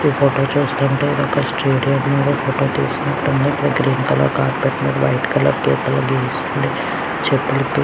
ఈ ఫోటో చూస్తుంటే ఇది ఒక స్టేడియం లో ఫోటో తీసినట్టుంది ఇక్కడ గ్రీన్ కలర్ కార్పెట్ మీద వైట్ కలర్ గీతలు గీసున్నాయ్ చెప్పులు --